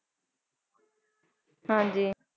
ਹਾਂਜੀ